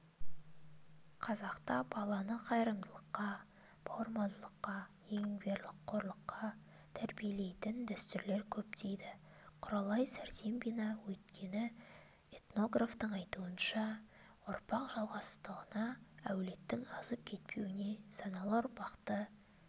қазақта баланы қайырымдылыққа бауырмалдыққа еңбекқорлықа тәрбиелейтін дәстүрлер көп дейді құралай сәрсембина өйткені этнографтың айтуынша ұрпақ жалғастығына әулеттің азып кетпеуіне саналы ұрпақты